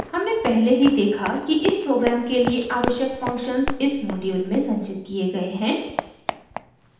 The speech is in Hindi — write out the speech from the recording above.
हमने पहले ही देखा कि इस प्रोग्राम के लिए आवश्यक फंक्शन्स इस मॉड्यूल में संचित किये गए हैं